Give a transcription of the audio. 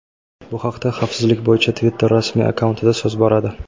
Bu haqda xavfsizlik bo‘yicha Twitter rasmiy akkauntida so‘z boradi.